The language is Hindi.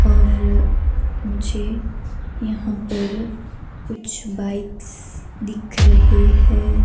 और मुझे यहां पर कुछ बाइक्स दिख रहे हैं।